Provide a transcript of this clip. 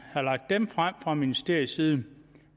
havde lagt dem frem fra ministeriets side